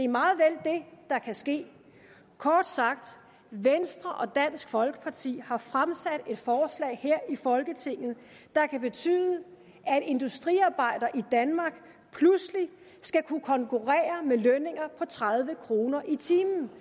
meget vel det der kan ske kort sagt venstre og dansk folkeparti har fremsat et forslag her i folketinget der kan betyde at industriarbejdere i danmark pludselig skal kunne konkurrere med lønninger på tredive kroner i timen